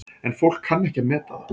En fólk kann ekki að meta það.